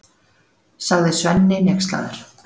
sagði Svenni hneykslaður.